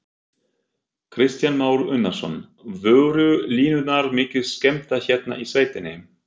Kristján Már Unnarsson: Voru línurnar mikið skemmdar hérna í sveitinni?